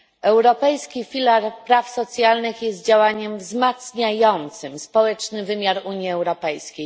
Europejski filar praw socjalnych jest działaniem wzmacniającym społeczny wymiar Unii Europejskiej.